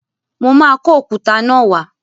Mo máa kó òkúta náà wá.